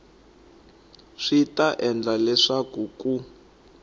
swi ta endla leswaku ku